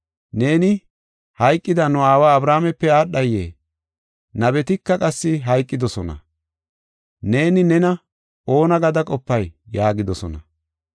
Neeni hayqida nu aawa Abrahaamepe aadhayee? Nabetika qassi hayqidosona. Neeni nena oona gada qopay?” yaagidosona.